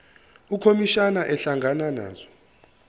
ukhomishana ehlangana nazo